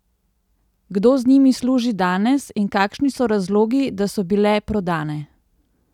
Kdo z njimi služi danes in kakšni so razlogi, da so bile prodane?